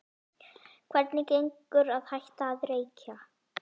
Hvernig gengur að hætta að reykja?